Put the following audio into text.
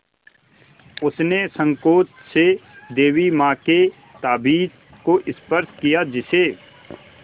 उसने सँकोच से देवी माँ के ताबीज़ को स्पर्श किया जिसे